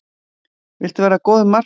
Viltu verða góður markmaður?